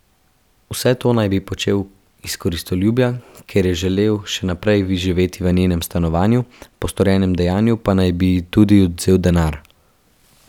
Vse to naj bi počel iz koristoljubja, ker je želel še naprej živeti v njenem stanovanju, po storjenem dejanju pa naj bi ji tudi odvzel denar.